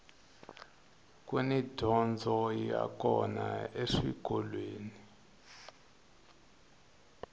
kuni dyondzo ya kona eswikolweni